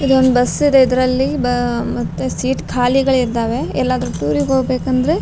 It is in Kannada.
ಇದೊಂದ್ ಬಸ್ ಇದೆ ಇದ್ರಲ್ಲಿ ಬ ಮತ್ತೆ ಸೀಟ್ ಖಾಲಿಗಳಿದ್ದಾವೆ ಎಲ್ಲಾದ್ರೂ ಟೂರಿಗ್ ಹೋಗ್ಬೇಕ್ ಅಂದ್ರೆ --